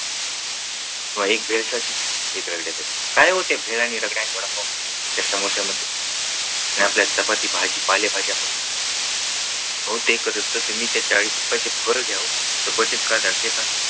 बघा एक भेलसाठी एक रगड्यासाठी काय होत त्या भेल पाव आणि रगड्या, वडापाव आणि त्या समोस्यामध्ये ह्या आपल्या चपाती भाजी पालेभाज्यांमध्ये अहो ते कारस्तव तुम्ही त्या चाळीस रुपयाची फळ घ्या हो सफरचंद खा. द्राक्षे खा.